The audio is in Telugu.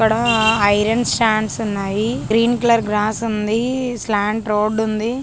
ఇక్కడ ఐరన్ స్టాండ్స్ ఉన్నాయి. గ్రీన్ కలర్ గ్రాస్ ఉంది. స్లాంట్ డోర్ ఉంది.